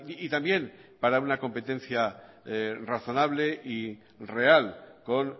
y también para una competencia razonable y real con